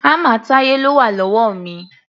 Hámà Táyé ló wà lọ́wọ́ mi.